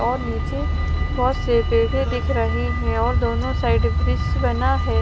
और नीचे बहुत से पेड़े दिख रहे हैं और दोनों साइड ब्रिज बना है।